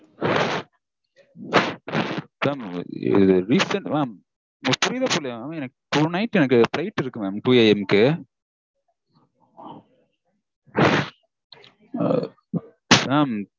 Mam இது reason, mam உங்களுக்கு புரியுதா புரியலயா mam? எனக்கு tonight flight இருக்கு twoA. M -க்கு